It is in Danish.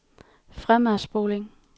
fremadspoling